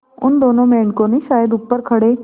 उन दोनों मेढकों ने शायद ऊपर खड़े